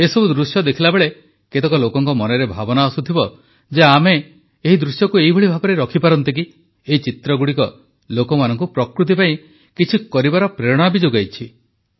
ଏହିସବୁ ଦୃଶ୍ୟ ସବୁ ଦେଖିଲାବେଳେ କେତେକ ଲୋକଙ୍କ ମନରେ ଭାବନା ଆସୁଥିବ ଯେ ଆମେ ଏହି ଦୃଶ୍ୟକୁ ଏହିଭଳି ଭାବରେ ରଖିପାରନ୍ତେ କି ଏହି ଚିତ୍ରଗୁଡ଼ିକ ଲୋକମାନଙ୍କୁ ପ୍ରକୃତି ପାଇଁ କିଛି କରିବାର ପ୍ରେରଣା ବି ଯୋଗାଇଛି